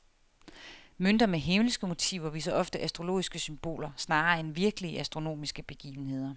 Mønter med himmelske motiver viser ofte astrologiske symboler snarere end virkelige astronomiske begivenheder.